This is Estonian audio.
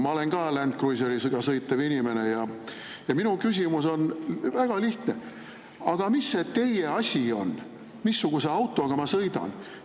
Ma olen ka Land Cruiseriga sõitev inimene ja minu küsimus on väga lihtne: aga mis see teie asi on, missuguse autoga ma sõidan?